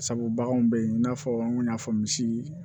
Sabu baganw bɛ yen i n'a fɔ n kun y'a fɔ misi